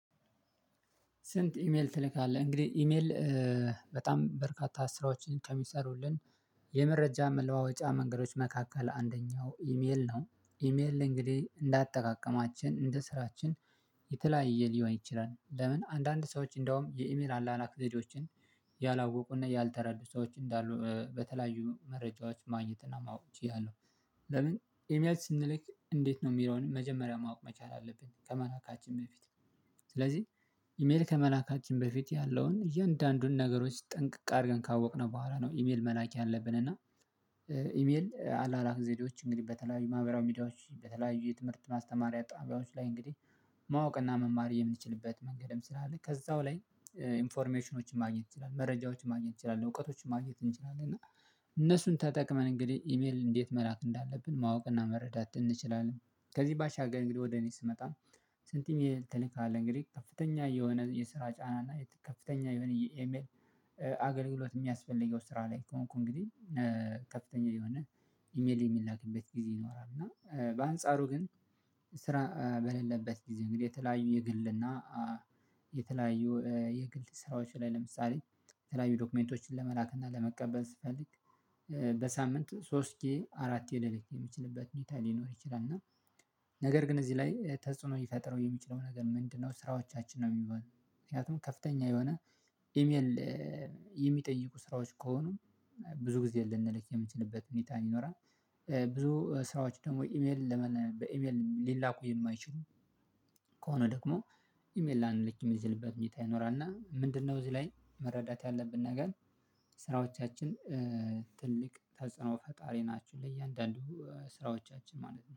ስንት? ኢሜል ትልካለህ እንግዲህ ኢሜል በጣም በርካታ ስራዎችን ከሚሰሩልን የመረጃ መለዋወጫ መንገዶች መካከል አንደኛው ኢሜል ነው። ኢሜል እንግዲህ እንዳጠቃቀማችን እንደ ስራችን የተለያየ ሊሆን ይችላል ለምን አንዳንድ ሰዎች እንደውም የኢሜል አላላኮችን ያላወቁና ያልተረዱ ሰዎች እንዳሉ በተለያዩ መረጃዎች ማግኘት እና ማወቅ እያለሁ ለምን ኤምያት ስንልክ እንዴት ነው የሚለውን መጀመሪያ ማወቅ መቻል አለብን ከመላካችን በፊት። ስለዚህ ኢሜል ከመላካችን በፊት ያለውን እያንዳንዱን ነገሮች ጠንቅቅ አድርገን ካወቅነው በኋላ ነው። ኢሜል መላክ ያለብን እና ኢሜል አላላክ ዜዲዎች እንግዲህ በተለያዩ ማህበራዊ ሚዲያዎች በተለያዩ የትምህርት ማስተማሪያ ጣቢያዎች ላይ እንግዲህ ማወቅና መማር የምንችልበት መንገድም ስላለ ከዛው ላይ ኢንፎርሜሽኖችን ማግኘት ይችላል መረጃዎችን ማግኘት ይችላል እውቀቶችን ማግኘት እንችላለን እና እነሱን ተጠቅመን እንግዲህ ኢሜል እንዴት መላክ እንዳለብን ማወቅና መረዳት እንችላለን። ከዚህ ባሻገር እንግዲህ ወደ እኔ ስመጣ። ስንትም የተለየ አለ እንግዲህ ከፍተኛ የሆነ የስራ ጫና እና ከፍተኛ የሆነ የኤመል አገልግሎት የሚያስፈልገው ስራ ላይ ከሆንኩ እንግዲህ ከፍተኛ ላይ ሆነህ ኢሜል የሚላክበት ጊዜ ይኖራል። እና በአንጻሩ ግን ስራ በሌለበት ጊዜ እንግዲህ የተለያዩ የግልና የተለያዩ የግል ስራዎች ላይ ለምሳሌ የተለያዩ ዶክመንቶችን ለመላክ እና ለመቀበል ስፈልግ በሳምንት ሶስቴ አራት የደለክ የምችልበት ሚታ ሊኖር ይችላል። እና ነገር ግን እዚህ ላይ ተጽዕኖ ይፈጥረው የሚችለው ነገር ምንድነው? ስራዎቻችን ነው የሚሆነው ምክንያቱም ከፍተኛ የሆነ ኢሜል የሚጠይቁ ስራዎች ከሆኑ ብዙ ጊዜ ልንልክ የምንችልበት ሁኔታ ይኖራል። ብዙ ስራዎች ደግሞ ኢሜል ለመነ በኢሜል ሊላኩ የማይችሉ ከሆነ ደግሞ ኢሜል ላንለችም ይዘንበብ መንገድ ይኖራል እና ምንድነው? እዚህ ላይ መረዳት ያለብን ነገር ስራዎቻችን ትልቅ ተጽዕኖ ፈጣሪ ናችሁ ለእያንዳንዱ ስራዎቻችን ማለት ነው